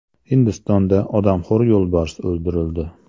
Hindistonda odamxo‘r yo‘lbars o‘ldirildi .